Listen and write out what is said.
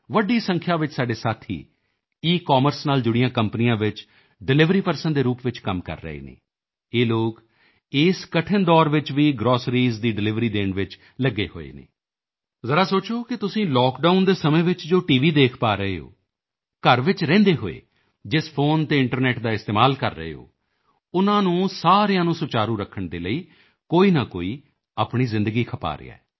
ਵੱਡੀ ਸੰਖਿਆ ਵਿੱਚ ਸਾਡੇ ਸਾਥੀ ਈਕਮਰਸ ਨਾਲ ਜੁੜੀਆਂ ਕੰਪਨੀਆਂ ਵਿੱਚ ਡਿਲਿਵਰੀ ਪਰਸਨ ਦੇ ਰੂਪ ਵਿੱਚ ਕੰਮ ਕਰ ਰਹੇ ਹਨ ਇਹ ਲੋਕ ਇਸ ਕਠਿਨ ਦੌਰ ਵਿੱਚ ਵੀ ਗ੍ਰੋਸਰੀਜ਼ ਦੀ ਡਿਲਿਵਰੀ ਦੇਣ ਵਿੱਚ ਲੱਗੇ ਹੋਏ ਹਨ ਜ਼ਰਾ ਸੋਚੋ ਕਿ ਤੁਸੀਂ ਲਾਕਡਾਊਨ ਦੇ ਸਮੇਂ ਵੀ ਜੋ ਟੀਵੀ ਤੇ ਦੇਖ ਪਾ ਰਹੇ ਹੋ ਘਰ ਵਿੱਚ ਰਹਿੰਦੇ ਹੋਇਆ ਜਿਸ ਫੋਨ ਅਤੇ ਇੰਟਰਨੈੱਟ ਦਾ ਇਸਤੇਮਾਲ ਕਰ ਰਹੇ ਹੋ ਉਨ੍ਹਾਂ ਨੂੰ ਸਾਰਿਆਂ ਨੂੰ ਸੁਚਾਰੂ ਰੱਖਣ ਦੇ ਲਈ ਕੋਈ ਨਾ ਕੋਈ ਆਪਣੀ ਜ਼ਿੰਦਗੀ ਖਪਾ ਰਿਹਾ ਹੈ